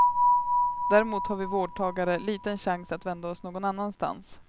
Däremot har vi vårdtagare liten chans att vända oss någon annanstans.